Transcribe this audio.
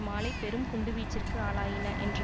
மாலை பெரும் குண்டுவீச்சிற்கு ஆளாயின என்று